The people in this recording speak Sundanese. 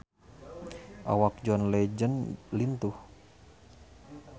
Awak John Legend lintuh